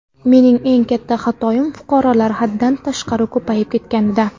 Mening eng katta xatoyim fuqarolar haddan tashqari ko‘payib ketganida.